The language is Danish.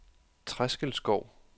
Treskelskov